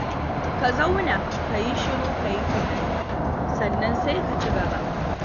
Ka zauna ka yi shiru ka yi tunani, sannan sai ka ci gaba.